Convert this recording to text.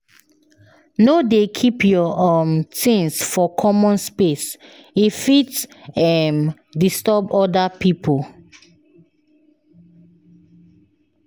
No dey keep your um things for common space, e fit um disturb other people.